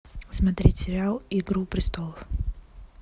смотреть сериал игру престолов